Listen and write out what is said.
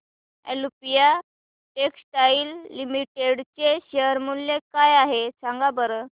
Olympia Textiles Limited चे share मूल्य काय आहे सांगा बरं